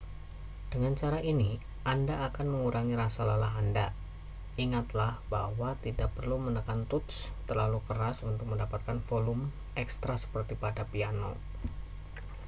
dengan cara ini anda akan mengurangi rasa lelah anda ingatlah bahwa tidak perlu menekan tuts terlalu keras untuk mendapatkan volume ekstra seperti pada piano